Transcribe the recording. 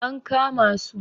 an kama su!